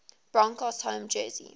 broncos home jersey